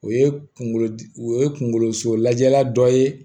O ye kunkolo o ye kunkolo so lajɛla dɔ ye